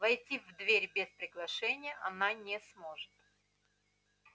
войти в дверь без приглашения она не сможет